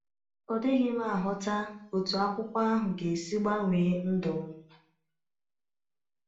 Ọ dịghị m aghọta otú akwụkwọ ahụ ga-esi gbanwee ndụ m.